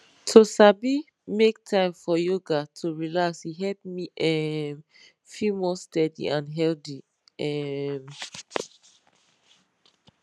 to sabi make time for yoga to relax e help me um feel more steady and healthy um